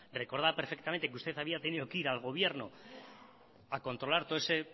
recordaba perfectamente que usted había tenido que ir al gobierno a controlar todo ese